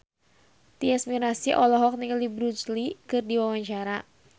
Tyas Mirasih olohok ningali Bruce Lee keur diwawancara